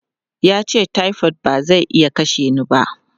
Ya ce, "typhoid ba zai iya kashe ni ba!".